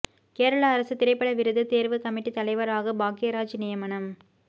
கேரள அரசு திரைப்பட விருது தேர்வு கமிட்டி தலைவராக பாக்யராஜ் நியமனம்